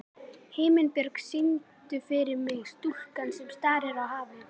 Himinbjörg, syngdu fyrir mig „Stúlkan sem starir á hafið“.